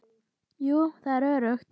Jú, það er öruggt.